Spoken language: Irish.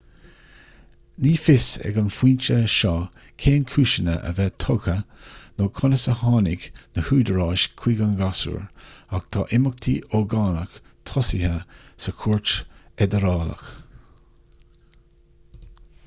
ní fios ag an phointe seo cén cúiseanna a bheith tugtha nó conas a tháinig na húdaráis chuig an ghasúr ach tá imeachtaí ógánach tosaithe sa chúirt fheidearálach